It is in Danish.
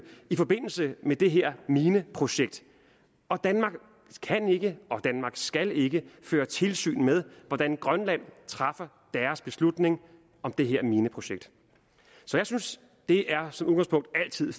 i forbindelse med det her mineprojekt og danmark kan ikke og danmark skal ikke føre tilsyn med hvordan grønland træffer beslutning om det her mineprojekt jeg synes som udgangspunkt altid